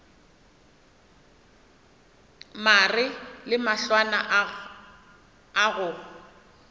mare le mahlwana a go